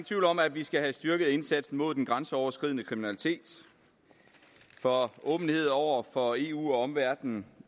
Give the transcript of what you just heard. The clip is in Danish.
tvivl om at vi skal have styrket indsatsen mod den grænseoverskridende kriminalitet for åbenhed over for eu og omverdenen